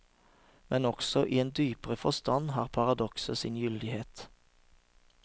Men også i en dypere forstand har paradokset sin gyldighet.